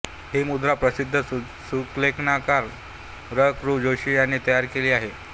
ही मुद्रा प्रसिद्ध सुलेखनकार र कृ जोशी ह्यांनी तयार केली आहे